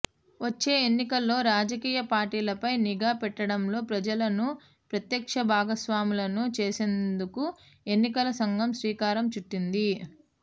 వచ్చే ఎన్నికల్లో రాజకీయ పార్టీలపై నిఘా పెట్టడంలో ప్రజలను ప్రత్యక్ష భాగస్వాములను చేసేందుకు ఎన్నికల సంఘం శ్రీకారం చుట్టింది